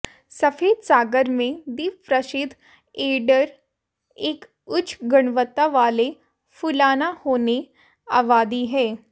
सफेद सागर में द्वीप प्रसिद्ध ऐडर एक उच्च गुणवत्ता वाले फुलाना होने आबादी है